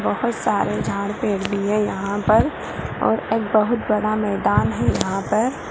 बहुत सारे झाड़ पेड़ भी है यहाँ पर और एक बहुत मैदान है यहाँ पर |